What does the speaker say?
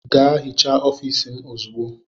Gaa hichaa ofiisi m ozugbo!